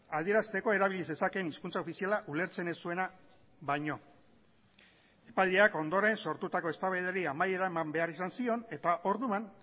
adierazteko erabili zezakeen hizkuntza ofiziala ulertzen ez zuena baino epaileak ondoren sortutako eztabaidari amaiera eman behar izan zion eta orduan